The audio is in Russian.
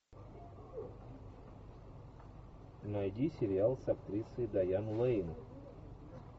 найди сериал с актрисой дайан лейн